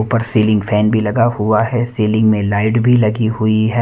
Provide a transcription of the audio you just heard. ऊपर ceiling fan भी लगा हुआ है सीलिंग मे लाइट भी लगी हुई है।